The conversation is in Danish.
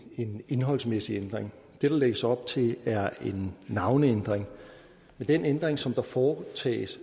indholdsmæssig ændring det der lægges op til er en navneændring og med den ændring som foretages